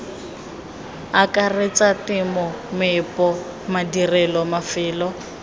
akaretsa temo meepo madirelo mafelo